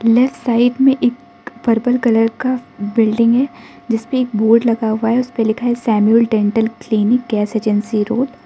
Left side में एक purple colour का बिल्डिंग है जिसपे एक बोर्ड लगा हुआ है उसपे लिखा है Samuel dental clinic gas agency road.